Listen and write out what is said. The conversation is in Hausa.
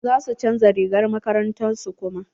Za su chanza rigar makarantar su kuma.